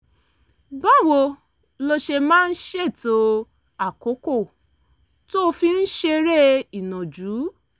báwo lo ṣe máa ń ṣètò àkókò tó o fi ń ṣeré ìnàjú?